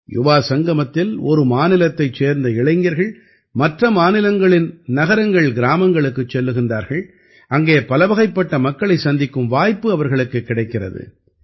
யுவாசங்கமத்தில் ஒரு மாநிலத்தைச் சேர்ந்த இளைஞர்கள் மற்ற மாநிலங்களின் நகரங்கள்கிராமங்களுக்குச் செல்கிறார்கள் அங்கே பலவகைப்பட்ட மக்களைச் சந்திக்கும் வாய்ப்பு அவர்களுக்குக் கிடைக்கிறது